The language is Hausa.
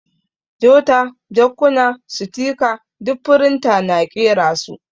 Jota, jakkuna, sitika ɗuk firinta na ƙera su.